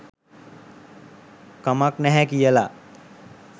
කමක් නැහැ කියලා.